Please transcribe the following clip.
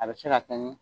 A bɛ se ka kɛ ni